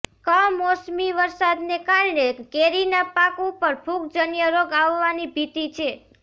કમોસમી વરસાદને કારણે કેરીના પાક ઉપર ફુગજન્ય રોગ આવવાની ભીતિ છે